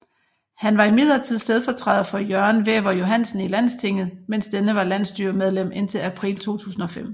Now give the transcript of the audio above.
Han var imidlertid stedfortræder for Jørgen Wæver Johansen i Landstinget mens denne var landsstyremedlem indtil april 2005